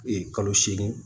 kalo seegin